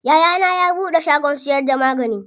Yayana ya buɗe shagon siyar da magani.